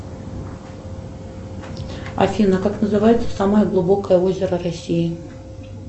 афина как называется самое глубокое озеро россии